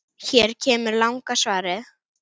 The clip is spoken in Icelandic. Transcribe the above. Hér kemur langa svarið